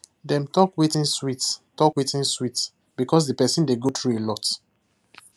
dem talkwetin sweet talkwetin sweet because the person dey go through a lot